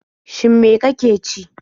Shin me ka ke ci?